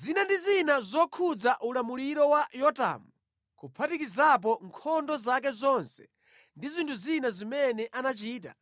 Zina ndi zina zokhudza ulamuliro wa Yotamu, kuphatikizapo nkhondo zake zonse ndi zinthu zina zimene anachita,